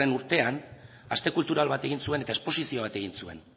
urtean aste kultural bat egin zuen eta esposizio bat egin zuen